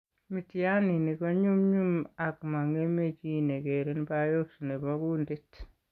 Miitiyaaniinik ko ny'umny'um ak mang'eme chii ke keren biopsy ne po kuuntit.